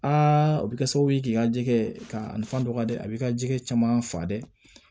o bɛ kɛ sababu ye k'i ka jɛgɛ ka nafan dɔgɔ dɛ a b'i ka jɛgɛ caman fa dɛ